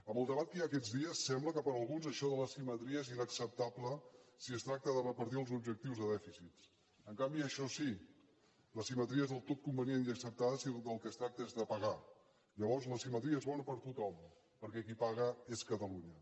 amb el debat que hi ha aquests dies sembla que per alguns això de l’asimetria és inacceptable si es tracta de repartir els objectius de dèficit en canvi això sí l’asimetria és del tot convenient i acceptada si del que es tracta és de pagar llavors l’asimetria és bona per a tothom perquè qui paga és catalunya